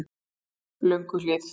Lönguhlíð